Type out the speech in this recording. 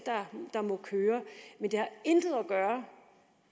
der må køre men det har intet at gøre